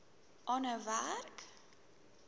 aanhou werk